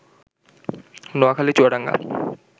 Noakhali, Chuadanga